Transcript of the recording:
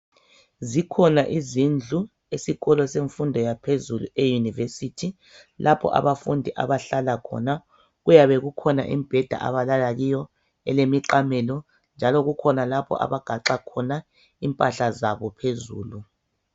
Zikhona izindlu esikolo semfundo yaphezulu eyunivesithi lapho abafundi abahlala khona kuyabe kukhona imbheda abalala kiyo, elemiqamelo njalo kukhona lapho abagaxa khona impahla zabo phezulu.